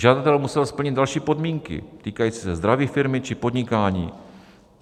Žadatel musel splnit další podmínky týkající se zdraví firmy či podnikání.